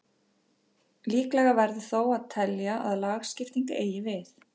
Líklegra verður þó að telja að lagskipting eigi við.